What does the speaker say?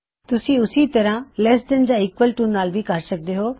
ਤੁਸੀਂ ਉੱਸੇ ਤਰ੍ਹਾਂ ਲੈੱਸ ਦੈਨ ਯਾ ਈਕਵਲ ਟੂ ਨਾਲ ਵੀ ਕਰ ਸਕਦੇ ਹੋਂ